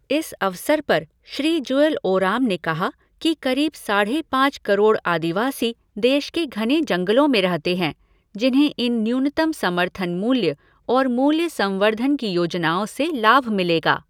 इस अवसर पर श्री जुएल ओराम ने कहा कि करीब साढ़े पाँच करोड़ आदिवासी देश के घने जंगलों में रहते हैं जिन्हें इन न्यूनतम समर्थन मूल्य और मूल्य संवर्द्धन की योजनाओं से लाभ मिलेगा।